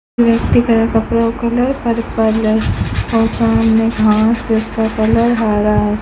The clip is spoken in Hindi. व्यक्ति का कपड़ा का कलर पर्पल है और सामने घास है उसका कलर हरा है।